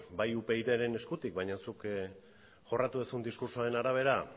bai upydren eskutik baina zuk jorratu duzun diskurtsoaren arabera